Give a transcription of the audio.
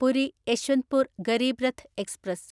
Puri Yeshwantpur Garib Rath express